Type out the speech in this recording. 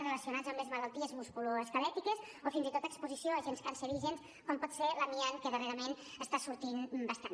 relacionats amb les malalties musculoesquelètiques o fins i tot a exposició a agents cancerígens com pot ser l’amiant que darrerament està sortint bastant